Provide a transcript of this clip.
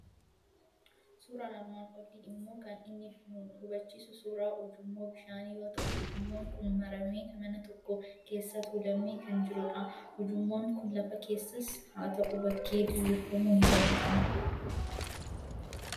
Suuraan armaan olii immoo kan inni nu hubachiisu suuraa ujummooo bishaanii yoo ta'u, ujummoon kun maramee, mana tokko keessa tuulamee kan jirudh. Ujummoon kun lafa keessas haa ta'u, bakkee diriirfamuu ni danda'a.